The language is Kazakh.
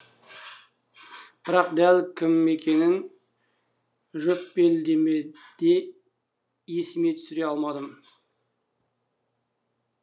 бірақ дәл кім екенін жөппелдемеде есіме түсіре алмадым